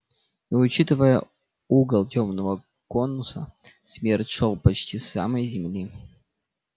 и учитывая угол тёмного конуса смерч шёл почти от самой земли